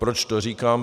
Proč to říkám?